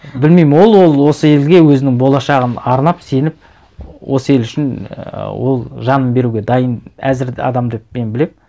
білмеймін ол осы елге өзінің болашағын арнап сеніп осы ел үшін ііі ол жанын беруге дайын әзір адам деп мен білемін